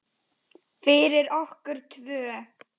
Fyrir okkur tvö.